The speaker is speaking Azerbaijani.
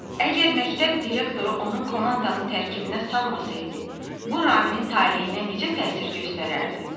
Əgər məktəb direktoru onun komandanı tərkibinə salmasaydı, bu Raminin taleyinə necə təsir göstərərdi?